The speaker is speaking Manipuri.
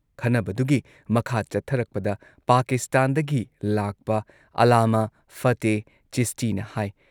ꯈꯟꯅꯕꯗꯨꯒꯤ ꯃꯈꯥ ꯆꯠꯊꯔꯛꯄꯗ ꯄꯥꯀꯤꯁꯇꯥꯟꯗꯒꯤ ꯂꯥꯛꯄ ꯑꯥꯜꯂꯥꯃꯥ ꯐꯇꯦꯍ ꯆꯤꯁꯇꯤꯅ ꯍꯥꯏ